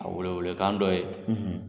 A welewele kan dɔ ye